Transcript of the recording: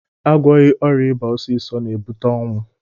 Agwọghị ọrịa ịba ọsịsọ na-ebute ọnwụ